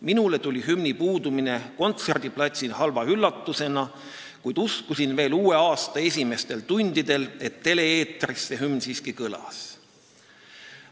Minule tuli hümni puudumine kontserdiplatsil halva üllatusena, kuid uskusin veel ka uue aasta esimestel tundidel, et tele-eetris see hümn siiski kõlas.